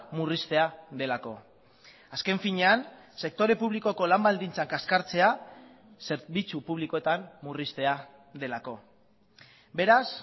murriztea delako azken finean sektore publikoko lan baldintzak kaskartzea zerbitzu publikoetan murriztea delako beraz